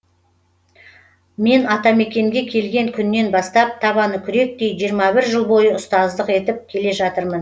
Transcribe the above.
мен атамакенге келген күннен бастап табаны күректей жиырма бір жыл бойы ұстаздық етіп келе жатырмын